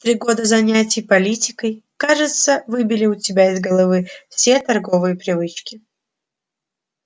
три года занятий политикой кажется выбили у тебя из головы все торговые привычки